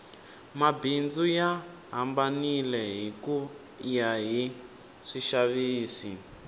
mabindzu ya hambanile hikuya hi swixavisi